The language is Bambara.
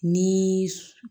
Ni